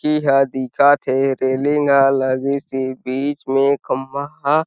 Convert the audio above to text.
की ह दिखथे रेलिंग ह लगीसी बीच में खम्बा ह --